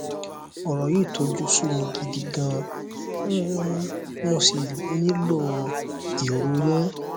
ọrọ yìí tojú sú mi gidi gan um mo sì nílò èrò yín